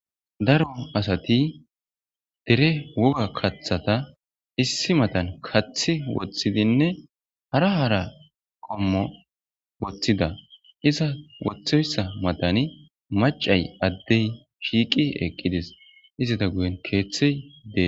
daro asati dere woga kathata issi matan kathi woththidinne hara hara qommo woththida iza woththoyssa matani macay addey shiiqi eqqides istata guyen keeththey dee